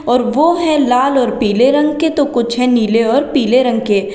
और वो है लाल और पीले रंग के तो कुछ है नीले और पीले रंग के।